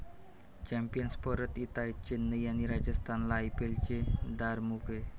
Champions परत येताय, चेन्नई आणि राजस्थानला आयपीएलचे दार मोकळे!